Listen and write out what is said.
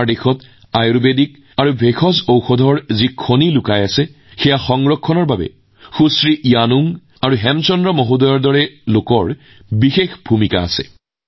আমাৰ দেশত লুকাই থকা আয়ুৰ্বেদ আৰু বনৌষধিৰ সম্পদ সংৰক্ষণৰ ক্ষেত্ৰত শ্ৰীমতী য়ানুং আৰু হেমচান্দ জীৰ দৰে মানুহৰ ডাঙৰ ভূমিকা আছে